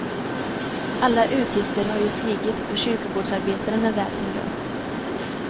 Alla utgifter har ju stigit och kyrkogårdsarbetaren är värd sin lön.